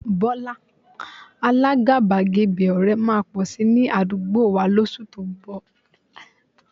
Bọ́lá, alágàbàgebè ọ̀rẹ́ máa pọ̀ si ní àdúgbò wà lóṣù tó ń bọ̀